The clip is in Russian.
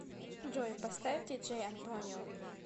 джой поставь диджей антонио